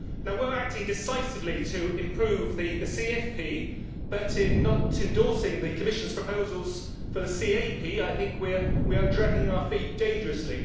We are acting decisively to improve the CFP, but in not endorsing the Commission's proposals for the CAP I think we are dragging our feet dangerously.